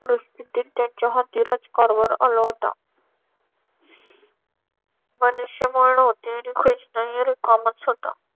परिस्थितीत त्यांच्या हाती राज्यकारभार आला होता. मनुष्यबळ नव्हते आणि खजिनाही रिकामाच होता.